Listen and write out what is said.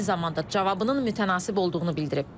Eyni zamanda cavabının mütənasib olduğunu bildirib.